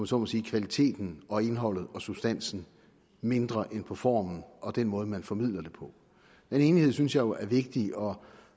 så må sige kvaliteten og indholdet og substansen mindre end på formen og den måde man formidler det på den enighed synes jeg jo er vigtig og